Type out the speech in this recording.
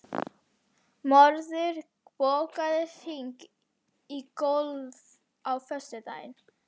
Mörður, bókaðu hring í golf á föstudaginn.